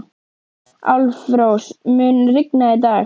Álfrós, mun rigna í dag?